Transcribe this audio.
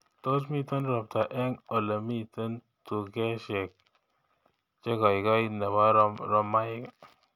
Tos miten ropta eng olemiten tukeshek chegoigoi nebo romaik